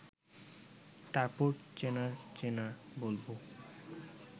তারপর চ্যানর চ্যানর বলব